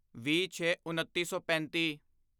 ਵੀਹਛੇਉੱਨੀ ਸੌ ਪੈਂਤੀ